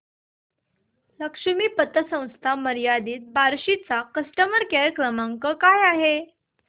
लक्ष्मी पतसंस्था मर्यादित बार्शी चा कस्टमर केअर क्रमांक काय आहे